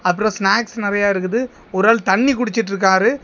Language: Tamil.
அப்புறம் ஸ்னாக்ஸ் நிறைய இருக்குது ஒரு ஆள் தண்ணி குடிச்சிட்டுருக்காரு.